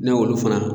Ne y'olu fana